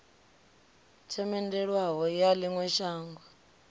themendelwaho ya ḽi ṅwe shango